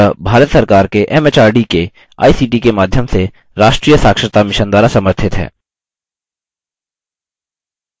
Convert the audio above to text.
यह भारत सरकार के एमएचआरडी के आईसीटी के माध्यम से राष्ट्रीय साक्षरता mission द्वारा समर्थित है